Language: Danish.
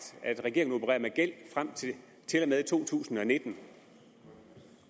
at regeringen opererer med gæld frem til og med 2019